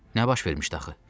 Nə baş vermişdi axı?